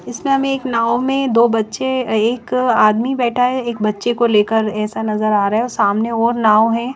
इसमें हमें एक नाऊँ में दो बच्चे अ एक आदमी बैठ है एक बच्चे को लेकर ऐसा नज़र आ रहा है और सामने और नाऊँ है ।